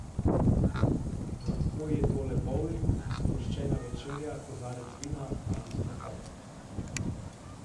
Lahko je to le bovling, sproščena večerja, kozarec vina ali sprehod.